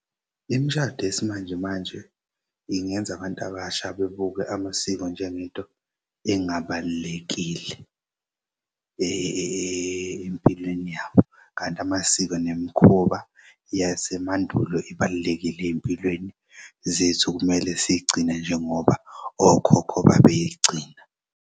Imishado yesimanjemanje ingenza abantu abasha bebuke amasiko njengento engabalulekile empilweni yabo kanti amasiko nemikhuba yasemandulo ibalulekile ey'mpilweni zethu kumele siy'gcine njengoba okhokho babeyigcina.